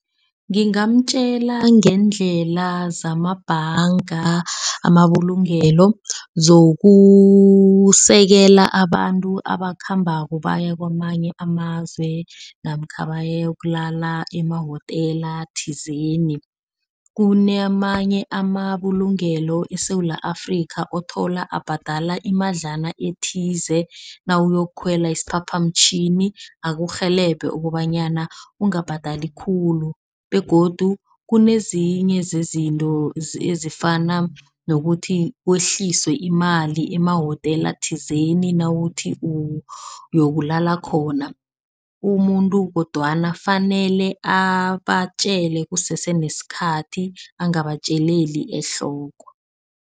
Ngingamtjela ngendlela zamabhanga, amabulungelo zokusekela abantu abasakhambako baya kwamanye amazwe namkha bayokulala emawotela thizeni. Kunamanye amabulungelo eSewula Afrika othola ubhadala imadlana ethize nawuyokukhwela isiphaphamtjhini, akurhelebhe ukobanyana ungabhadali khulu begodu kunezinye zezinto ezifana nokuthi kwehliswe imali emawotela thizeni. Nawuthi yokulala khona umuntu kodwana fanele abatjele kusese nesikhathi bangabatjeleli ehloko.